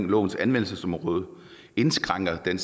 lovens anvendelsesområde indskrænkes den